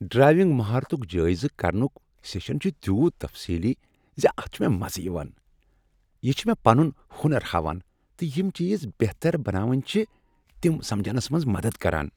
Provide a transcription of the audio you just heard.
Driving مہارتک جٲیزٕ کرنک سیشن چھ تیُوت تفصیلی ز اتھ چھ مےٚ مزٕ یوان۔ یہ چھ مےٚ پنن ہنر ہاوان تہٕ یم چیز بہتر بناوٕنۍ چھ تم سمجنس منز مدد کران۔